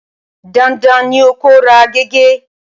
Dandan ni kí o ra gègé!